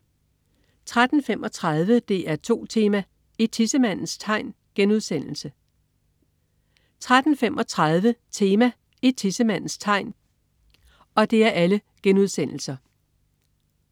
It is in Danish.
13.35 DR2 Tema: I tissemandens tegn* 13.35 Tema: I tissemandens tegn*